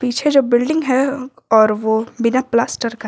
पीछे जो बिल्डिंग है और ओ बिना प्लास्टर का--